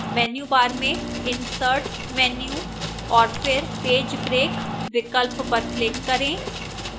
menu bar में insert menu और फिर page break विकल्प पर click करें